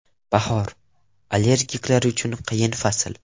Bahor – allergiklar uchun qiyin fasl.